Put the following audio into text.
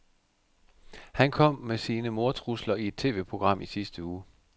Han kom med sine mordtrusler i et TVprogram i sidste uge.